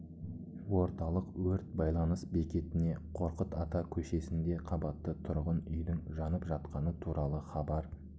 орталық өрт байланыс бекетіне қорқыт ата көшесінде қабатты тұрғын үйдің жанып жатқаны туралы хабар